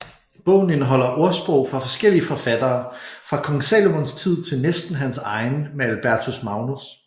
Bogen indeholder ordsprog fra forskellige forfattere fra Kong Salomons tid til næsten hans egen med Albertus Magnus